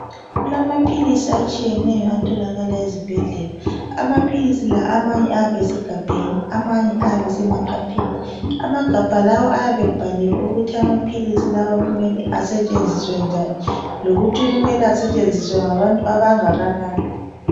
kulama philizi atshiyenyo atholakala ezibhedlela ama philizi lawa amanye ayabe esemagabheni amanye ayabe esema phepheni amagabhai lawa ayabe ebhaliwe ukuthi kumele asetsenziswe njani lokuthi asetshenziswe ngabantu abangakanani.